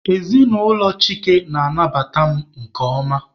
Ezinụlọ Chike nabatara m nke ọma.